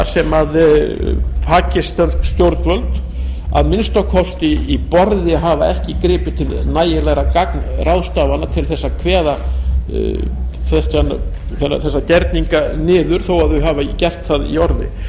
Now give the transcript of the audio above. sem pakistönsk stjórnvöld að minnsta kosti ekki í borði hafa ekki gripið til nægilegra gagnráðstafana til þess að kveða þessa gerninga niður þó þau hafi gert það í orði ég